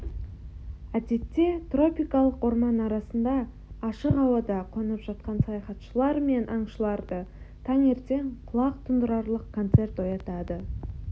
әдетте тропикалық орман арасында ашық ауада қонып жатқан саяхатшылар мен аңшыларды таңертең құлақ тұндырарлық концерт оятады